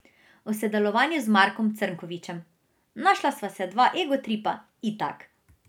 O sodelovanju z Markom Crnkovičem: 'Našla sva se dva egotripa, itak.